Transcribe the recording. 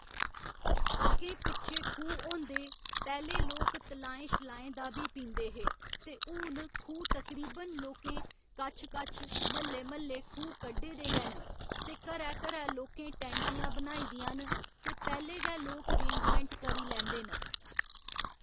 अग्गें पिच्छें खूह् होंदे पैह्‌ले लोक तलाएं शलाएं दा बी पींदे हे ते हून खूह् तकरीबन लोकें कच्छ कच्छ म्हल्ले म्हल्ले खूह् कड्ढे दे गै न ते घरै घरै लोकें टैंकियां बनाई दियां न ते पैह्‌ले गै लोक रेंजमैंट करी लैंदे न